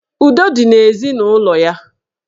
Udo dị n'ezinụlọ ya.